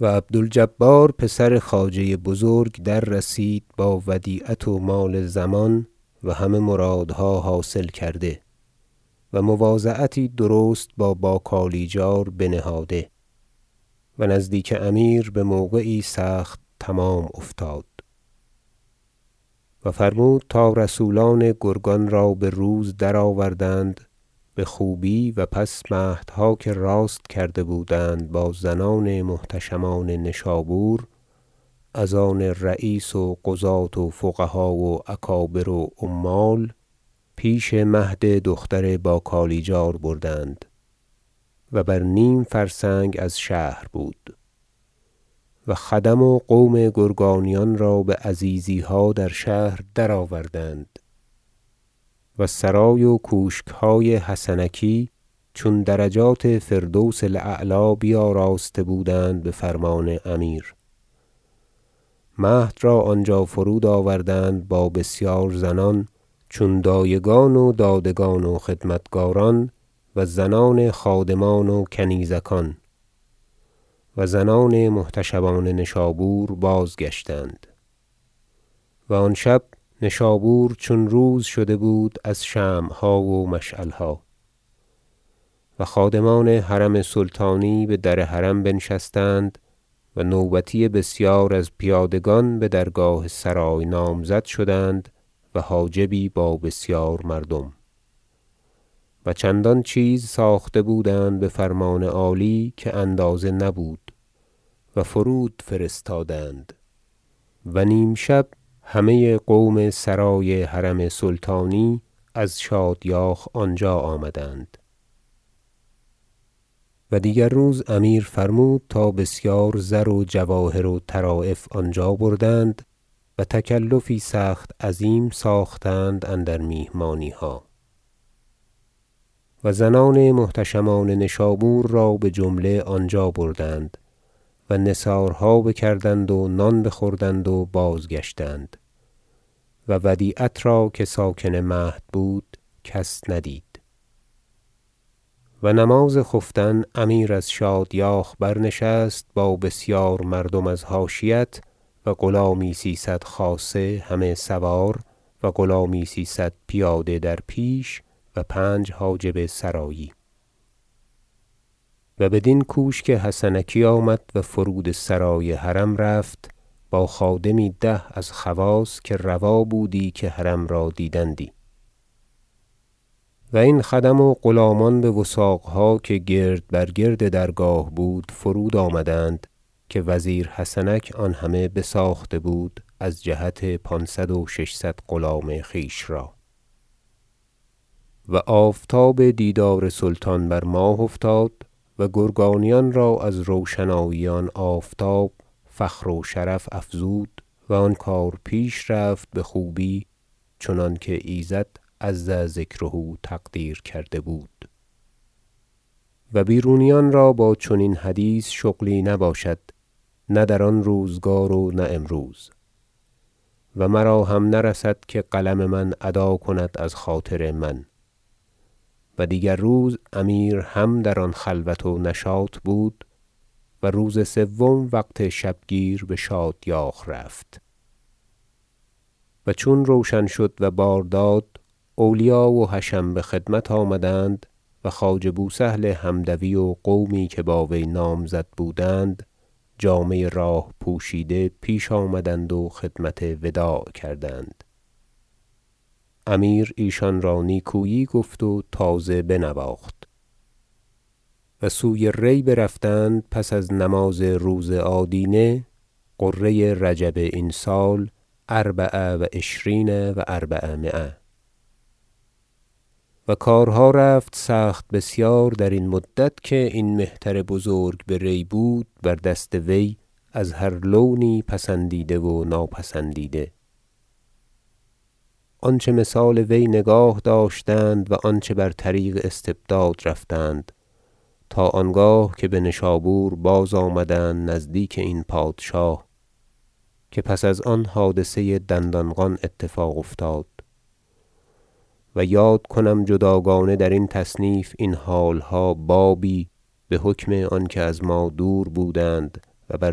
و عبد الجبار پسر خواجه بزرگ در رسید با ودیعت و مال ضمان و همه مرادها حاصل کرده و مواضعتی درست با باکالیجار بنهاده و نزدیک امیر بموقعی سخت تمام افتاد و فرمود تا رسولان گرگان را بروز درآوردند بخوبی و پس مهدها که راست کرده بودند با زنان محتشمان نشابور از آن رییس و قضاة و فقها و اکابر و عمال بشب پیش مهد دختر باکالیجار بردند- و بر نیم فرسنگ از شهر بود- و خدم و قوم گرگانیان را بعزیزیها در شهر درآوردند و سرای و کوشکهای حسنکی چون درجات فردوس الاعلی بیاراسته بودند بفرمان امیر مهد را آنجا فرود آوردند با بسیار زنان چون دایگان و دادگان و خدمتکاران و زنان خادمان و کنیزکان و زنان محتشمان نشابور بازگشتند و آن شب نشابور چون روز شده بود از شمعها و مشعلها و خادمان حرم سلطانی بدر حرم بنشستند و نوبتی بسیار از پیادگان بدرگاه سرای نامزد شدند و حاجبی با بسیار مردم و چندان چیز ساخته بودند بفرمان عالی که اندازه نبود و فرود فرستادند و نیم شب همه قوم سرای حرم سلطانی از شادیاخ آنجا آمدند و دیگر روز امیر فرمود تا بسیار زر و جواهر و طرایف آنجا بردند و تکلفی سخت عظیم ساختند اندر میهمانیها و زنان محتشمان نشابور را بجمله آنجا بردند و نثارها بکردند و نان بخوردند و بازگشتند و ودیعت را که ساکن مهد بود کس ندید و نماز خفتن امیر از شادیاخ برنشست با بسیار مردم از حاشیت و غلامی سیصد خاصه همه سوار و غلامی سیصد پیاده در پیش و پنج حاجب سرایی و بدین کوشک حسنکی آمد و فرود سرای حرم رفت با خادمی ده از خواص که روا بودی که حرم را دیدندی و این خدم و غلامان بوثاقها که گرد بر گرد درگاه بود فرود آمدند که وزیر حسنک آن همه بساخته بود از جهت پانصد و ششصد غلام خویش را و آفتاب دیدار سلطان بر ماه افتاد و گرگانیان را از روشنایی آن آفتاب فخر و شرف افزود و آن کار پیش رفت بخوبی چنانکه ایزد عز ذکره تقدیر کرده بود و بیرونیان را با چنین حدیث شغلی نباشد نه در آن روزگار و نه امروز و مراهم نرسد که قلم من ادا کند از خاطر من و دیگر روز امیر هم در آن خلوت و نشاط بود و روز سوم وقت شبگیر بشادیاخ رفت و چون روشن شد و بار داد اولیا و حشم بخدمت آمدند و خواجه بوسهل حمدوی و قومی که با وی نامزد بودند جامه راه پوشیده پیش آمدند و خدمت وداع کردند امیر ایشان را نیکویی گفت و تازه بنواخت و سوی ری برفتند پس از نماز روز آدینه غره رجب این سال اربع و عشرین و اربعمایه و کارها رفت سخت بسیار درین مدت که این مهتر بزرگ به ری بود بر دست وی از هر لونی پسندیده و ناپسندیده آنچه مثال وی نگاه داشتند و آنچه بر طریق استبداد رفتند تا آنگاه که بنشابور بازآمدند نزدیک این پادشاه که پس از آن حادثه دندانقان اتفاق افتاد و یاد کنم جداگانه درین تصنیف این حالها بابی بحکم آنکه از ما دور بودند و بر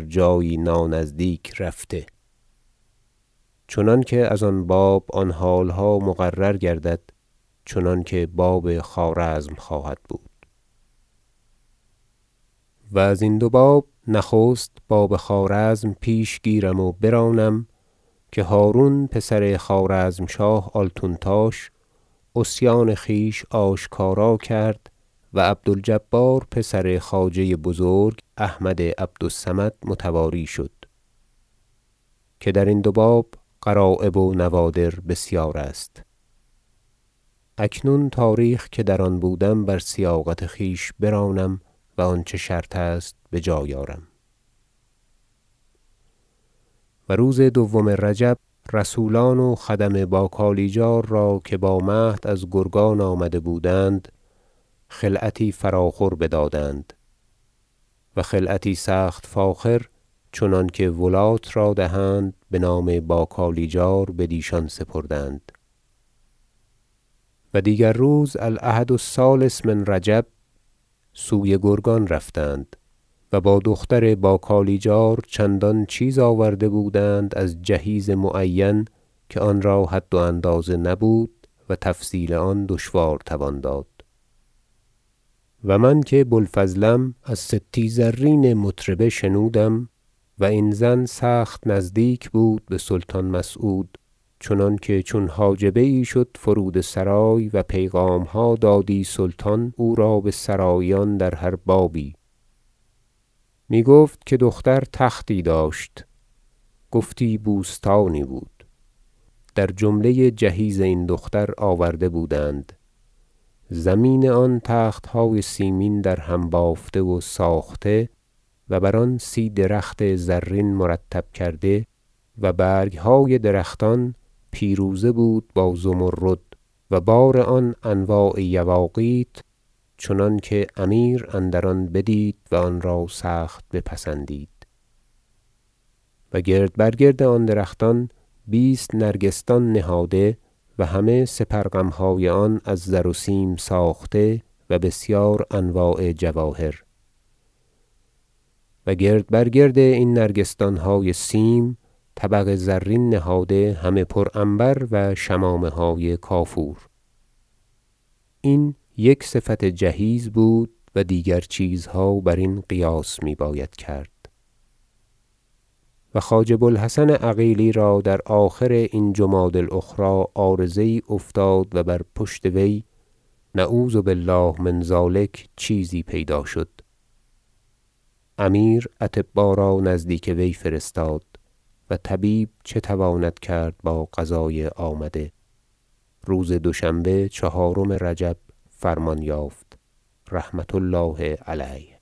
جایی نانزدیک رفته چنانکه از آن باب آن حالها مقرر گردد چنانکه باب خوارزم خواهد بود و ازین دو باب نخست باب خوارزم پیش گیرم و برانم که هرون پسر خوارزمشاه آلتونتاش عصیان خویش آشکارا کرد و عبد الجبار پسر خواجه بزرگ احمد عبد الصمد متواری شد که درین دو باب غرایب و نوادر بسیار است اکنون تاریخ که در آن بودم بر سیاقت خویش برانم و آنچه شرط است بجای آرم و روز دوم رجب رسولان و خدم با کالیجار را که با مهد از گرگان آمده بودند خلعتی فراخور بدادند و خلعتی سخت فاخر چنانکه ولات را دهند بنام با کالیجار بدیشان سپردند و دیگر روز الأحد الثالث من رجب سوی گرگان برفتند و با دختر با کالیجار چندان چیز آورده بودند از جهیز معین که آن را حد و اندازه نبود و تفصیل آن دشوار توان داد و من که بوالفضلم از ستی زرین مطربه شنودم- و این زن سخت نزدیک بود بسلطان مسعود چنانکه چون حاجبه یی شد فرود سرای و پیغامها دادی سلطان او را بسراییان در هر بابی- میگفت که دختر تختی داشت گفتی بوستانی بود در جمله جهیز این دختر آورده بودند زمین آن تختهای سیمین درهم بافته و ساخته و بر آن سی درخت زرین مرتب کرده و برگهای درختان پیروزه بود با زمرد و بار آن انواع یواقیت چنانکه امیر اندر آن بدید و آنرا سخت بپسندید و گرد بر گرد آن درختان بیست نرگسدان نهاده و همه سپر غمهای آن از زر و سیم ساخته و بسیار انواع جواهر و گرد بر گرد این نرگسدانهای سیم طبق زرین نهاده همه پر عنبر و شمامه های کافور این یک صفت جهیز بود و دیگر چیزها برین قیاس می باید کرد و خواجه بو الحسن عقیلی را در آخر این جمادی الأخری عارضه یی افتاد و بر پشت وی- نعوذ بالله من ذلک - چیزی پیدا شد امیر اطبا را نزدیک وی فرستاد و طبیب چه تواند کرد با قضای آمده روز دوشنبه چهارم رجب فرمان یافت رحمة الله علیه